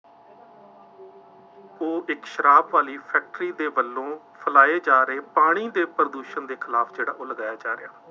ਉਹ ਇੱਕ ਸ਼ਰਾਬ ਵਾਲੀ ਫੈਕਟਰੀ ਦੇ ਵੱਲੋਂ ਫੈਲਾਏ ਜਾ ਰਹੇ ਪਾਣੀ ਦੇ ਪ੍ਰਦੂਸ਼ਣ ਦੇ ਖਿਲਾਫ ਜਿਹੜਾ ਉਹ ਲਗਾਇਆ ਜਾ ਰਿਹਾ।